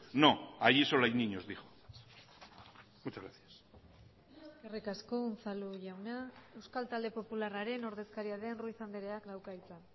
no allí solo hay niños dijo muchas gracias eskerrik asko unzalu jauna euskal talde popularraren ordezkaria den ruiz andreak dauka hitza